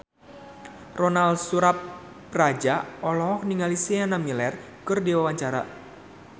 Ronal Surapradja olohok ningali Sienna Miller keur diwawancara